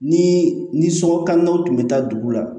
Ni ni sokɔlanw tun bɛ taa dugu la